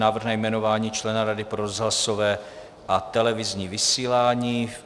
Návrh na jmenování člena Rady pro rozhlasové a televizní vysílání